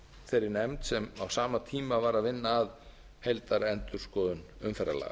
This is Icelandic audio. þeirri nefnd sem á sama tíma var að vinna að heildarendurskoðun umferðarlaga